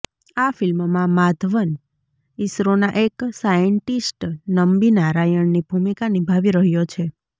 આ ફિલ્મમાં માધવન ઇસરોના એક સાયન્ટિસ્ટ નમ્બી નારાયણની ભૂમિકા નિભાવી રહ્યો રહ્યો છે